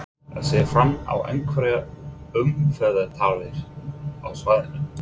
Er séð fram á einhverjar umferðartafir á svæðinu?